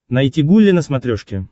найти гулли на смотрешке